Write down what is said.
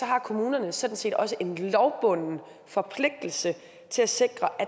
har kommunerne sådan set også en lovbunden forpligtelse til at sikre at